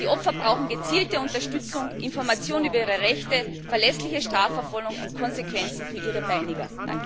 Die Opfer brauchen gezielte Unterstützung, Informationen über ihre Rechte, verlässliche Strafverfolgung und Konsequenzen für ihre Peiniger.